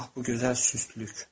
Ah, bu gözəl sükut.